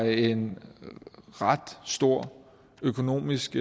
en ret stor økonomisk